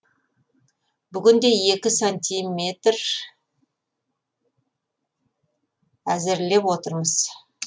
бүгінде екі сантиметр әзірлеп отырмыз